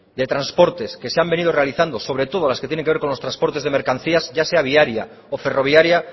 de transportes que se han venido realizando sobre todo las que tienen que ver con los transportes de mercancías ya sea viaria o ferroviaria